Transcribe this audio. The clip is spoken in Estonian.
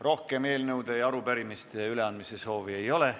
Rohkem eelnõude ja arupärimiste üleandmise soovi ei ole.